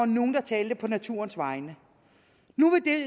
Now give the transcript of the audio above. nogen der talte på naturens vegne nu